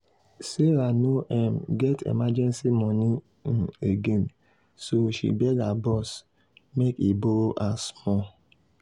sarah no um get emergency money um again so she beg her boss make he borrow her small.